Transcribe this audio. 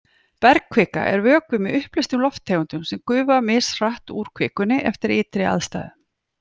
Bergkvika er vökvi með uppleystum lofttegundum sem gufa mishratt úr kvikunni eftir ytri aðstæðum.